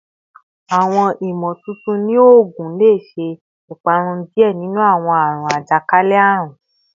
Awọn imotuntun ni oogun le ṣe iparun diẹ ninu awọn aarun ajakalẹ-arun